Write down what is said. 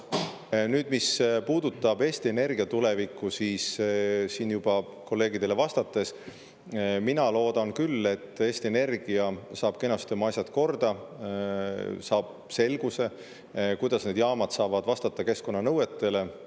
Nüüd, mis puudutab Eesti Energia tulevikku, siis ma juba teie kolleegidele vastates ütlesin, et mina loodan küll, et Eesti Energia saab kenasti oma asjad korda, saab selguse, kuidas need jaamad saavad vastata keskkonnanõuetele.